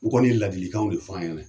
U kɔni ye ladilikanw de f'a ɲɛna